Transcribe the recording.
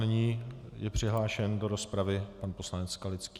Nyní je přihlášen do rozpravy pan poslanec Skalický.